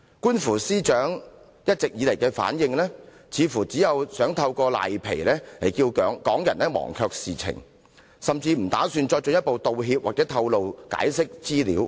觀乎司長一直以來的回應，似乎是想藉"賴皮"令港人忘卻事件，甚或不打算作進一步道歉、透露及解釋資料。